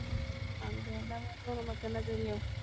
அங்க என்னவா இருந்தா நமக்கென்ன என்ன தெரியும்?